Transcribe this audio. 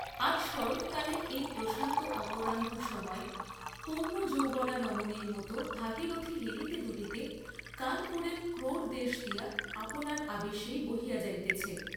আজ শরৎকালের এই প্রশান্ত অপরাহ্ন সময়ে পূর্ণযৌবনা রমণীর মত ভাগীরথী হেলিতে দুলিতে কানপুরের ক্রোড়দেশ দিয়া আপনার আবেশেই বহিয়া যাইতেছে।